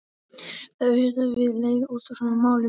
það er auðvitað til leið út úr svona málum.